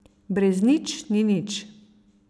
Brez nič ni nič.